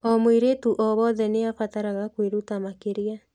O mweiretu o wothe nĩ abataraga kwĩruta makĩria.